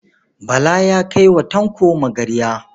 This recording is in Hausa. Bala ya kai wa Tanko magarya.